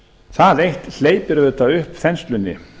það eitt hleypir auðvitað upp þenslunni